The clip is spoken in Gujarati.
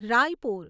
રાયપુર